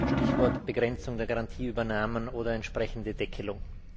Stichwort Begrenzung der Garantieübernahmen oder entsprechende Deckelung.